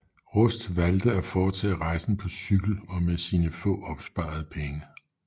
Rust valgte at foretage rejsen på cykel og med sine få opsparede penge